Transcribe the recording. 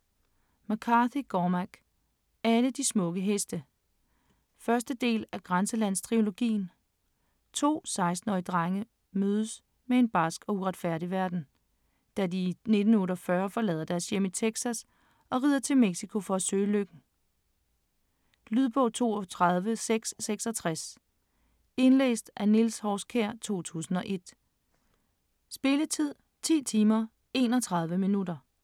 McCarthy, Cormac: Alle de smukke heste 1. del af Grænselandstrilogien. To 16-årige drenges møde med en barsk og uretfærdig verden, da de i 1948 forlader deres hjem i Texas og rider til Mexico for at søge lykken. Lydbog 32666 Indlæst af Niels Horskjær, 2001. Spilletid: 10 timer, 31 minutter.